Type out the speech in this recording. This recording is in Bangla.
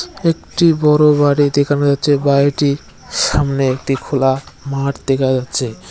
একটি বড় বাড়ি দেখানো যাচ্ছে বাড়িটির সামনে একটি খোলা মাঠ দেখা যাচ্ছে।